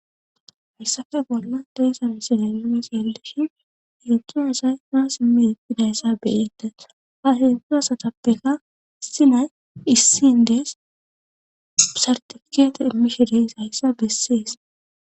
Hayssafe bolla deessa misilay umes yallishin yotu asay maas imiididayssa beyetes ha hedzdzu asatappeka sinay issin dees sartifikeete immishideys hayssa bessees.